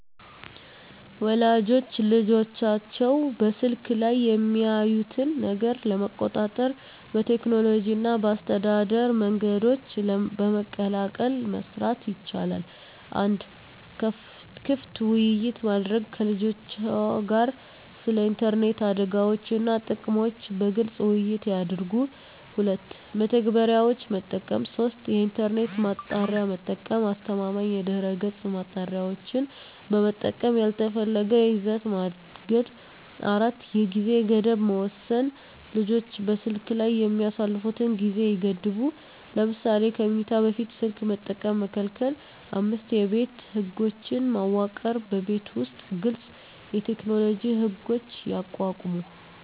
ወላጆች ልጆቻቸው በስልክ ላይ የሚያዩትን ነገር ለመቆጣጠር በቴክኖሎጂ እና በአስተዳደር መንገዶች በመቀላቀል መስራት ይቻላል። 1. ክፍት ውይይት ማድረግ ከልጆችዎ ጋር ስለ ኢንተርኔት አደጋዎች እና ጥቅሞች በግልፅ ውይይት ያድርጉ። 2. መተግበሪያዎች መጠቀም 3. የኢንተርኔት ማጣሪያ መጠቀም አስተማማኝ የድህረገፅ ማጣሪያዎችን በመጠቀም ያልተፈለገ ይዘት ማገድ 4. የጊዜ ገደብ መወሰን ልጆች በስልክ ላይ የሚያሳልፉትን ጊዜ ይገድቡ። ለምሳሌ ከመኝታ በፊት ስልክ መጠቀም መከልከል። 5የቤት ህጎች መዋቅር በቤት ውስጥ ግልፅ የቴክኖሎጂ ህጎች ያቋቁሙ።